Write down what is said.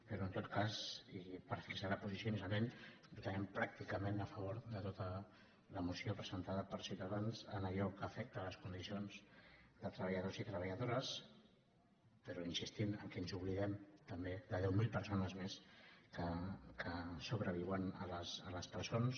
però en tot cas per fixar la posició inicialment votarem pràcticament a favor de tota la moció presentada per ciutadans en allò que afecta les condicions de treballadors i treballadores però insistint que ens oblidem també de deu mil persones més que sobreviuen a les presons